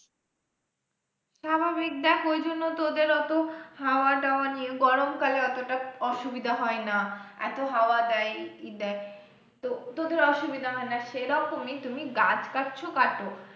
স্বাভাবিক দেখ ওই জন্য তোদের অত হাওয়া-টাওয়া নিয়ে গরম কালে অতটা অসুবিধা হয় না এত হাওয়া দেয় ই দেয়, তো তোদের অসুবিধা হয় না সেরকমই তুমি গাছ কাটছো কাটো,